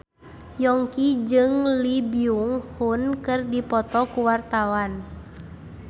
Yongki jeung Lee Byung Hun keur dipoto ku wartawan